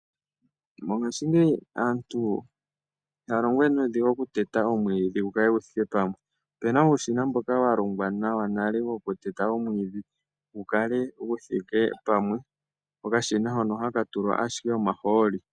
Mongashingeyi aantu ihaya longo we nuudhigu okuteta omwiidhi gukale gu thike pamwe. Ope na uushina mboka wa longwa nawa nale wokuteta omwiidhi gu kale gu thike pamwe. Okashina hono ohaka tulwa ashike omahooli.